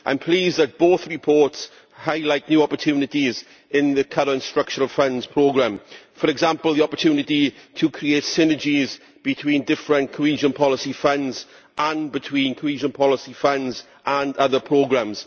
I am pleased that both reports highlight new opportunities in the current structural funds programme, for example, the opportunity to create synergies between different cohesion policy funds and between cohesion policy funds and other programmes.